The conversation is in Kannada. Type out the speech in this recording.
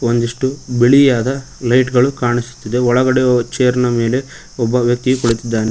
ಒಂದಿಷ್ಟು ಬಿಳಿಯಾದ ಲೈಟ್ ಗಳು ಕಾನಿಸುತ್ತಿದೆ ಒಳಗಡೆ ಚೇರ ನ ಮೇಲೆ ಒಬ್ಬ ವ್ಯಕ್ತಿ ಕೂಳಿತಿದ್ದಾನೆ.